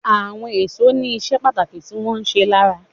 Àwọn èso ní iṣẹ́ pàtàkì tí wón ń ṣe lára.